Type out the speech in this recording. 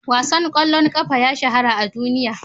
Wasan ƙwallon ƙafa ya shahara a duniya.